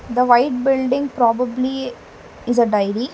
The white building probably is a dairy.